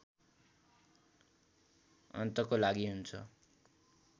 अन्तको लागि हुन्छ